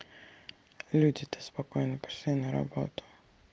люди-то спокойно пошли на работу